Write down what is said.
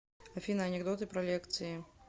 афина анекдоты про лекции